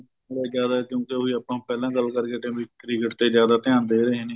ਬਹੁਤ ਜਿਆਦਾ ਕਿਉਂਕਿ ਉਹੀ ਆਪਾਂ ਪਹਿਲਾਂ ਗੱਲ ਕਰਕੇ ਹਟੇ ਆ ਬੀ cricket ਤੇ ਜਿਆਦਾ ਧਿਆਨ ਦੇ ਰਹੇ ਨੇ